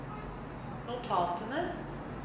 notatene